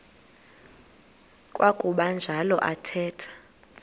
kwakuba njalo athetha